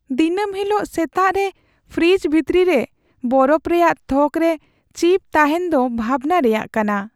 ᱫᱤᱱᱟᱹᱢ ᱦᱤᱞᱳᱜ ᱥᱮᱛᱟᱜ ᱨᱮ ᱯᱷᱨᱤᱡᱽ ᱵᱷᱤᱛᱨᱤ ᱨᱮ ᱵᱚᱨᱚᱯᱷ ᱨᱮᱭᱟᱜ ᱛᱷᱚᱠᱨᱮ ᱪᱤᱯ ᱛᱟᱦᱮᱱ ᱫᱚ ᱵᱷᱟᱵᱽᱱᱟ ᱨᱮᱭᱟᱜ ᱠᱟᱱᱟ ᱾